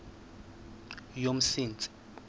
yomsintsi